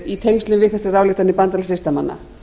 í tengslum við þessar ályktanir bandalags listamanna